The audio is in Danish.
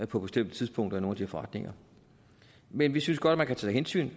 på bestemte tidspunkter i nogle af de forretninger men vi synes godt at man kan tage hensyn